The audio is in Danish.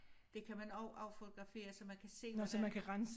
Det kan man også affotografere så man kan se hvordan